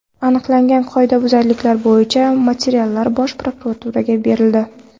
Aniqlangan qoidabuzarliklar bo‘yicha materiallar Bosh prokuraturaga berildi.